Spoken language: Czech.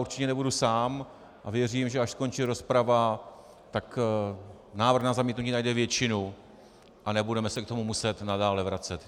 Určitě nebudu sám a věřím, že až skončí rozprava, tak návrh na zamítnutí najde většinu a nebudeme se k tomu muset nadále vracet.